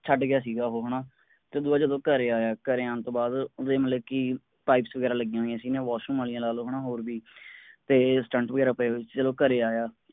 ਛੱਡ ਗਿਆ ਸੀਗਾ ਓਹੋ ਹੈਨਾ ਤੇ ਉਹ ਜਦੋਂ ਘਰੇ ਆਇਆ ਘਰੇ ਆਣ ਤੋਂ ਬਾਅਦ ਓਹਦੇ ਮਤਲਬ ਕੀ pipes ਵਗੈਰਾ ਲੱਗਿਆਂ ਹੋਇਆਂ ਸੀ ਹੈਨਾ washroom ਆਲਿਆਂ ਲਾ ਲਓ ਹੈਨਾ ਹੋਰ ਵੀ ਤੇ stunt ਵਗੈਰਾ ਪਏ ਹੋਏ ਸੀ ਜਦੋਂ ਘਰੇ ਆਇਆ